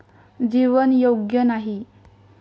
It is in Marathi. जीवन योग्य नाही.